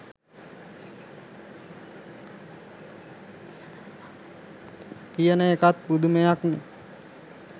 කියන එකත් පුදුමයක්නේ.